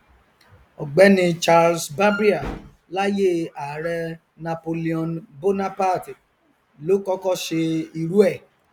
ọgbẹni charles barbier láyé ààrẹ napoleon bonaparte ló kọkọ ṣe irú ẹ